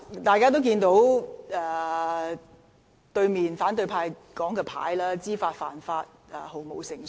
大家也看到，坐在對面席的反對派議員的展示牌寫上"知法犯法、毫無誠信"。